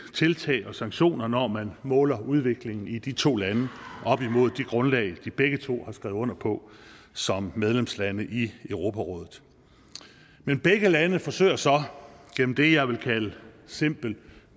tiltag og sanktioner når man måler udviklingen i de to lande op imod det grundlag de begge to har skrevet under på som medlemslande i europarådet men begge lande forsøger så gennem det jeg vil kalde simpel